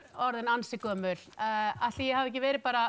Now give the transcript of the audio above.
orðin ansi gömul ætli ég hafi ekki verið bara